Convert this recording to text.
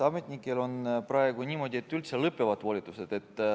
Ametnikel on praegu niimoodi, et volitused üldse lõpevad.